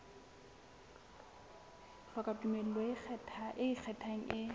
hloka tumello e ikgethang e